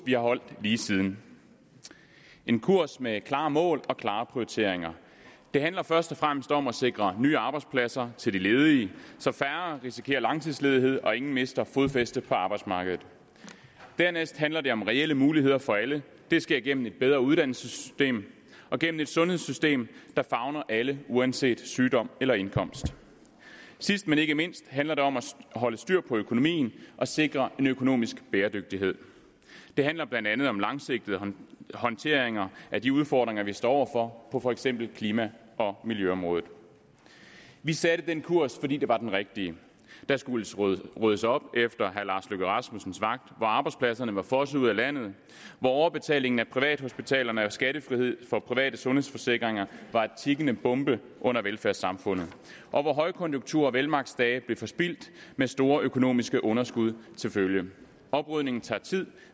vi har holdt lige siden en kurs med klare mål og klare prioriteringer det handler først og fremmest om at sikre nye arbejdspladser til de ledige så færre risikerer langtidsledighed og ingen mister fodfæstet på arbejdsmarkedet dernæst handler det om reelle muligheder for alle det sker gennem et bedre uddannelsessystem og gennem et sundhedssystem der favner alle uanset sygdom eller indkomst sidst men ikke mindst handler det om at holde styr på økonomien og sikre en økonomisk bæredygtighed det handler blandt andet om langsigtede håndteringer af de udfordringer vi står over for på for eksempel klima og miljøområdet vi satte den kurs fordi det var den rigtige der skulle skulle ryddes op efter herre lars løkke rasmussens vagt hvor arbejdspladserne var fosset ud af landet hvor overbetalingen af privathospitalerne og skattefrihed for private sundhedsforsikringer var en tikkende bombe under velfærdssamfundet og hvor højkonjunktur og velmagtsdage blev forspildt med store økonomiske underskud til følge oprydningen tager tid